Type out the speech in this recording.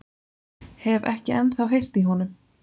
Hef ekki ennþá heyrt í honum.